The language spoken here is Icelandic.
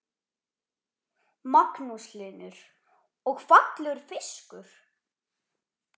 Magnús Hlynur: Og fallegur fiskur?